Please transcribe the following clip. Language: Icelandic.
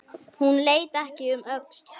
Hún leit ekki um öxl.